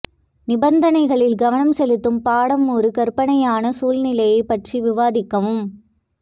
நிபந்தனைகளில் கவனம் செலுத்தும் பாடம் ஒரு கற்பனையான சூழ்நிலையைப் பற்றி விவாதிக்கவும்